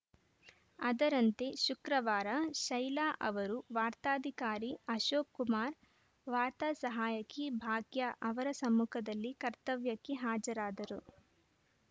ಅದರಂತೆ ಶುಕ್ರವಾರ ಶೈಲಾ ಅವರು ವಾರ್ತಾಧಿಕಾರಿ ಅಶೋಕ್‌ ಕುಮಾರ್‌ ವಾರ್ತಾ ಸಹಾಯಕಿ ಭಾಗ್ಯ ಅವರ ಸಮ್ಮುಖದಲ್ಲಿ ಕರ್ತವ್ಯಕ್ಕೆ ಹಾಜರಾದರು